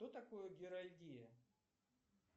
что такое герольдия